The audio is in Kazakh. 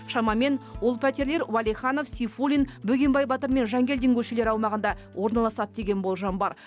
шамамен ол пәтерлер уәлиханов сейфуллин бөгенбай батыр мен жангелдин көшелері аумағында орналасады деген болжам бар